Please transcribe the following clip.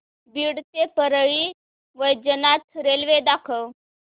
बीड ते परळी वैजनाथ रेल्वे दाखव